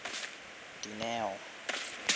dineo